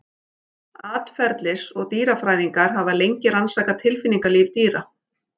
Atferlis- og dýrafræðingar hafa lengi rannsakað tilfinningalíf dýra.